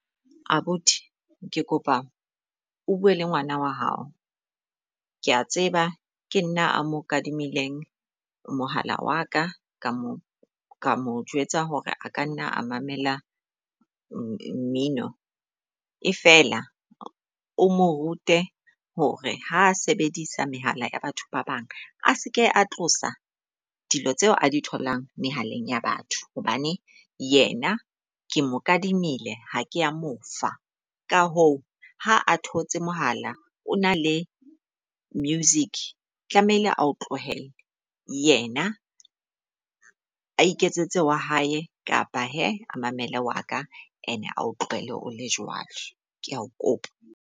Abuti ke kopa o bue le ngwana wa hao. Kea tseba ke nna a mo kadimileng mohala wa ka ka mo ka mo jwetsa hore a ka nna a mamela mmino, e feela o mo rute hore ha sebedisa mehala ya batho ba bang a seke a tlosa dilo tseo a di tholang mehaleng ya batho. Hobane yena ke mo kadimile ha ke a mo fa ka hoo, ha a thotse mohala o na le music tlamehile ao tlohele. Yena a iketsetse wa hae kapa he a mamele wa ka and a o tlohele o le jwalo. Ke a o kopa.